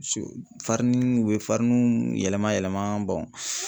Fariniw u bɛ fariniw yɛlɛma yɛlɛma